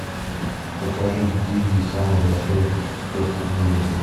покажи дигби самый большой пес в мире